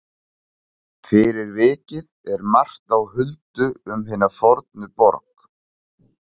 Fyrir vikið er margt á huldu um hina fornu borg.